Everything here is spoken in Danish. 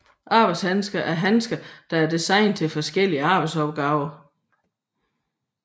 Arbejdshandsker er handsker der er designet til forskellige arbejdsopgaver